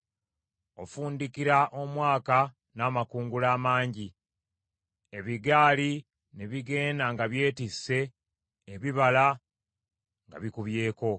Ofundikira omwaka n’amakungula amangi, ebigaali ne bigenda nga byetisse ebibala nga bikubyeko.